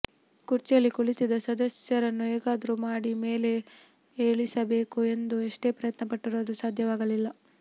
ಕುರ್ಚಿಯಲ್ಲಿ ಕುಳಿತಿದ್ದ ಸದಸ್ಯರನ್ನ ಹೇಗಾದ್ರೂ ಮಾಡಿ ಮೇಲೆ ಏಳಿಸಬೇಕು ಎಂದು ಎಷ್ಟೇ ಪ್ರಯತ್ನ ಪಟ್ಟರೂ ಅದು ಸಾಧ್ಯವಾಗಲಿಲ್ಲ